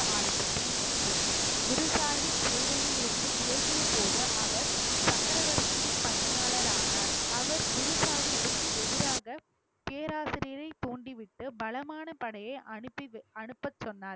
ஆரம்பித்தேன் ஒன்று குரு சாஹிப் சேவையில் இருந்து விலகியபோது அவர் சக்கரவர்த்தியின் பணியாளர் ஆனார் அவர் குரு சாஹிபுக்கு எதிராக பேராசிரியரை தூண்டிவிட்டு பலமான படையை அனுப்பி~ அனுப்பச்சொன்னார்